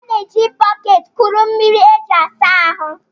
A na-eji bọket kuru mmiri e ji asa ahụ